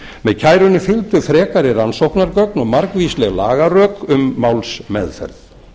með kærunni fylgdu frekari rannsóknargögn og margvísleg lagarök um málsmeðferð